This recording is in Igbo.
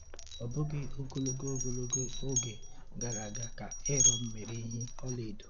Ọ bụghị ogologo ogologo oge gara aga ka Eron mere ehi ọlaedo.